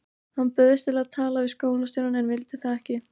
Hann bauðst til að tala við skólastjórann en ég vildi það ekki.